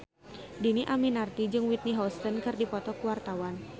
Dhini Aminarti jeung Whitney Houston keur dipoto ku wartawan